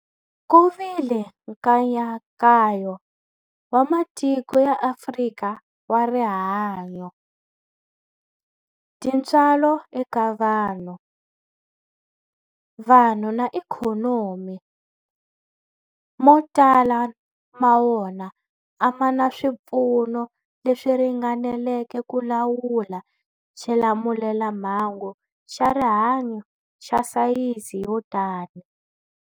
Ku vile nkayakayo wa matiko ya Afrika wa rihanyu, tintswalo eka vanhu, vanhu na ikhonomi, mo tala ma wona a ma na swipfuno leswi ringaneleke ku lawula xilamulelamhangu xa rihanyu xa sayizi yo tani.